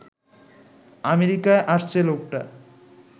আমেরিকায় আসছে লোকটা